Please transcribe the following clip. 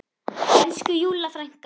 Elsku Júlla frænka.